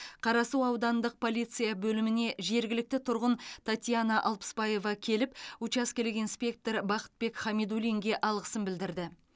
қарасу аудандық полиция бөліміне жергілікті тұрғын татьяна алпысбаева келіп учаскелік инспектор бақытбек хамидуллинге алғысын білдірді